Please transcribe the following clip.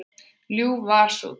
Ljúf var sú tíð.